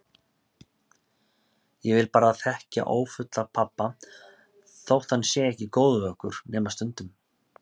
Ég vil bara þekkja ófulla pabba þótt hann sé ekki góður við okkur, nema stundum.